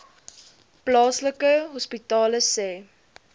plaaslike hospitale sê